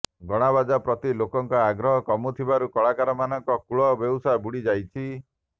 ଗଣାବଜା ପ୍ରତି ଲୋକଙ୍କ ଆଗ୍ରହ କମୁଥିବାରୁ କଳାକାରମାନଙ୍କ କୁଳ ବେଉସା ବୁଡ଼ିଯାଇଛି